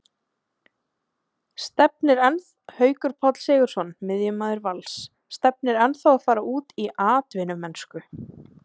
Haukur Páll Sigurðsson, miðjumaður Vals, stefnir ennþá að fara út í atvinnumennsku.